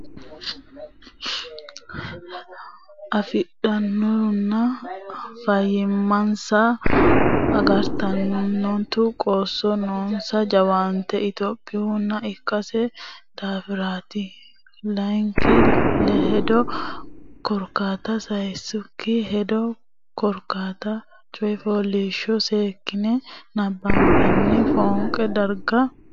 afidhuronna fayyimmansa agaranturo qoosso noonsa jawaatte lophitannoha ikkino daafiraati Layinki hedo Korkaata Sayikki hedo Korkaata coy fooliishsho seekkitine nabbabbine fooqu dargira hasiissannota amadisiisaano xaadisaano qaalla doortine qolle.